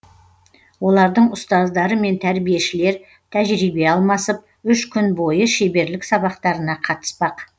олардың ұстаздары мен тәрбиешілер тәжірибе алмасып үш күн бойы шеберлік сабақтарына қатыспақ